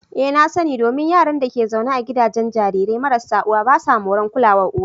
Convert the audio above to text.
Ee na sa ni, Domin Yaran da ke zaune a gidajen jarirai marasa uwa basu moran kulawar uwa.